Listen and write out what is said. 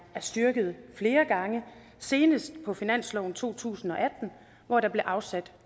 er styrket flere gange senest på finansloven for to tusind og atten hvor der blev afsat